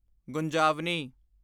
ਗੁੰਜਾਵਨੀ